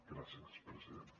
gràcies president